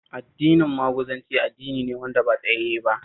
Addinin Maguzanci addini ne wanda ba tsayayye ba